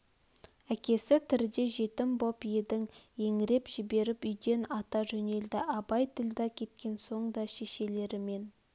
әкесі тірде жетім боп деп еңіреп жіберіп үйден ата жөнелді абай ділдә кеткен соң да шешелерімен